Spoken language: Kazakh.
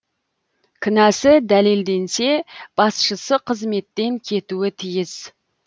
кінәсі дәлелденсе басшысы қызметтен кетуі тиіс